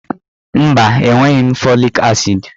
Mba, enweghị m fọlik asịd.